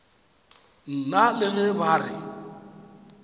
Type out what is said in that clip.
nna le ge ba re